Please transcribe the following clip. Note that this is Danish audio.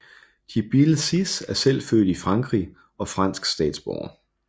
Djibril Cissé er selv født i Frankrig og fransk statsborger